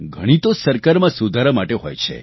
ઘણી તો સરકારમાં સુધારા માટે હોય છે